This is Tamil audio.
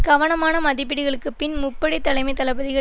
கவனமான மதிப்பீடுகளுக்குப்பின் முப்படை தலைமை தளபதிகள்